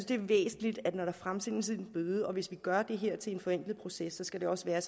det er væsentligt at når der fremsendes en bøde og hvis vi gør det her til en forenklet proces skal det også være